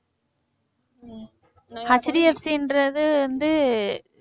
HDFC ன்றது வந்து